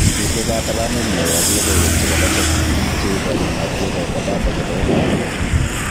Mitei katabanet neo ak logoiywek chebo lembech, tuguuk che ikochin matkekoito data chebo iman akobo tibiik